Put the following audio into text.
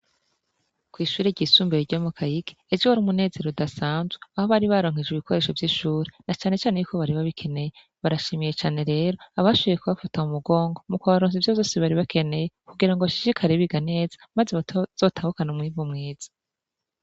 Kw'ishure ry'isumbuye ryo mu Kayigi ejo hari umunezero udasanzwe aho bari baronkejwe ibikoresho vy'ishuri na cane cane y'uko bari ba bikeneye barashimiye cane rero abashoboye kubafata mu mugongo mu kubaronsa ivyo vyose baribakeneye kugira ngo bashishikare biga neza maze bazotahukana umwimbu mwiza.